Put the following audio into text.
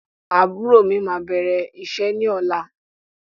Àbúrò mí máa bẹ̀rẹ̀ iṣẹ́ ní ọ̀la.